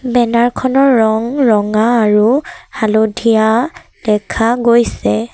Banner খনৰ ৰং ৰঙা আৰু হালধীয়া দেখা গৈছে।